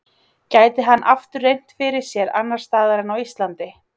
Gæti hann aftur reynt fyrir sér annars staðar en á Íslandi?